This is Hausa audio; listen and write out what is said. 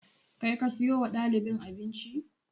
Kai ka siyo wa ɗalibin abinci?